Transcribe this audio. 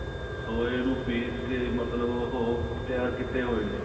soya ਨੂੰ ਪਿਸ ਕੇ ਮਤਲਬ ਉਹ ਤਿਆਰ ਕਿਤੇ ਹੋਏ ਨੇ